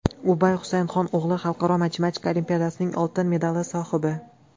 Ubay Husaynxon o‘g‘li xalqaro matematika olimpiadasining oltin medali sohibi!